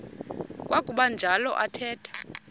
kwakuba njalo athetha